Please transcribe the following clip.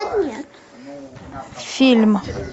фильм